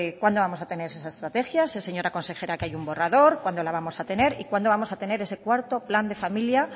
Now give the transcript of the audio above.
cuándo vamos a tener esas estrategias señora consejera que hay un borrador cuándo lo vamos a tener y cuando vamos a tener ese cuarto plan de familia